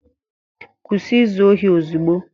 Kwụsị izu ohi ozugbo!